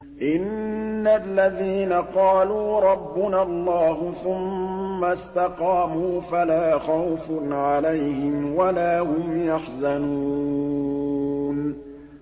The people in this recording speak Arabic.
إِنَّ الَّذِينَ قَالُوا رَبُّنَا اللَّهُ ثُمَّ اسْتَقَامُوا فَلَا خَوْفٌ عَلَيْهِمْ وَلَا هُمْ يَحْزَنُونَ